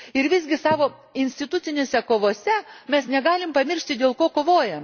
Visgi, savo institucinėse kovose mes negalime pamiršti dėl ko kovojame.